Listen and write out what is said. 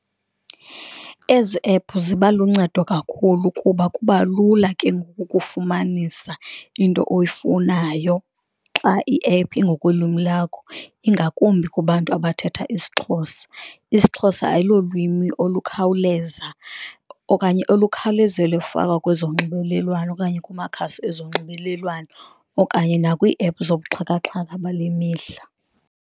Ezi ephu ziba luncedo kakhulu kuba kubalula ke ngoku ukufumanisa into oyifunayo xa iephu ingokwelwimi lakho, ingakumbi kubantu abathetha isiXhosa, isiXhosa ayilolwimi olukhawuleza okanye olukhawulezwe lufakwa kwezonxibelelwano okanye kumakhasi ezonxibelelwano, okanye nakwiiephu zobuxhakaxhaka bale mihla